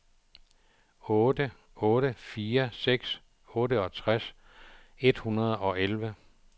otte otte fire seks otteogtres et hundrede og elleve